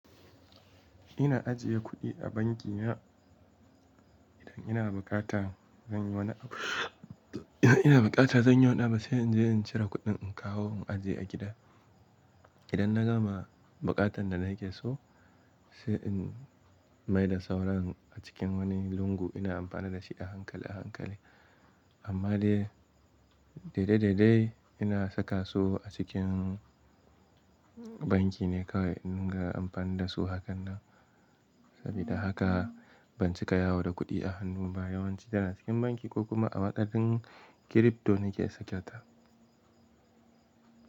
Ina ajiye kuɗi a banki na idan ina buƙata zan yi wani abu. Idan ina buƙata zan yi wani abu sai in je in cire kuɗin in kawo in ajiye a gida. Idan na gama buƙatan da na yake so sai in maida sauran a cikin wani lungu ina amfana da shi a hankali a hankali. Amma dai daidai daidai ina saka su a cikin banki ne kawai in ga amfani da su hakan nan. Sabida haka ban cika yawo da kuɗi a hannu ba yawanci yana cikin banki ko kuma a waƙafinn crypto nake sakata.